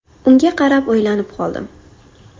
Unga qarab o‘ylanib qoldim.